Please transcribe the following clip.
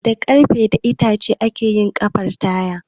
Da Ƙarfe da itace ake yin fartaya